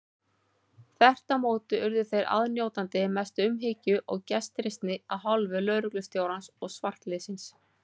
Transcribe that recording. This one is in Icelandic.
Þvert á móti urðu þeir aðnjótandi mestu umhyggju og gestrisni af hálfu lögreglustjórans og svartliðsins.